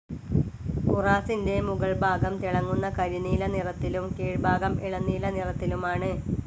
ഉറാസിൻ്റെ മുഗൾ ഭാഗം തിളങ്ങുന്ന കരിനീല നിറത്തിലും കീഴ്ഭാഗം ഇളം നീല നിറത്തിലുമാണ്.